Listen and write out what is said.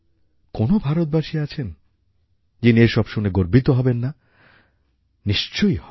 কোনও ভারতবাসী আছেন যিনি এসব শুনে গর্বিত হবেন না নিশ্চয়ই হবেন